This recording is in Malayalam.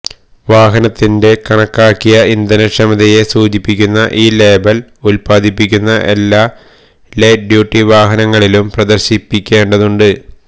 വാഹനത്തിന്റെ കണക്കാക്കിയ ഇന്ധനക്ഷമതയെ സൂചിപ്പിക്കുന്ന ഈ ലേബൽ ഉൽപ്പാദിപ്പിക്കുന്ന എല്ലാ ലൈറ്റ് ഡ്യൂട്ടി വാഹനങ്ങളിലും പ്രദർശിപ്പിക്കേണ്ടതുണ്ട്